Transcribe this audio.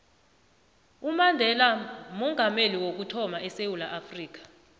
umandela ngoomongameli wokuthama edewula afrika